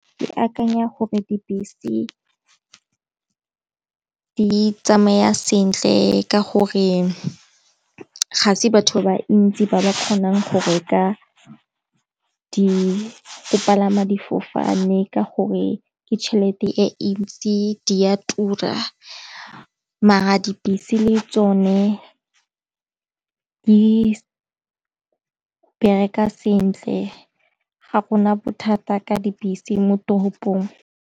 Ke akanya gore dibese di tsamaya sentle ka gore gase batho ba ntsi ba ba kgonang go reka di go palama difofane ka gore ke tšhelete e ntsi di a tura mare dibese le tsone ke di bereka sentle ga gona bothata ka dipilisi mo toropong.